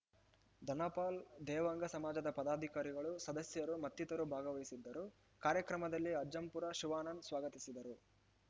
ಧನಪಾಲ್‌ ದೇವಾಂಗ ಸಮಾಜದ ಪದಾಧಿಕಾರಿಗಳು ಸದಸ್ಯರು ಮತ್ತಿತರರು ಭಾಗವಹಿಸಿದ್ದರು ಕಾರ್ಯಕ್ರಮದಲ್ಲಿ ಅಜ್ಜಂಪುರ ಶಿವಾನಂದ್‌ ಸ್ವಾಗತಿಸಿದರು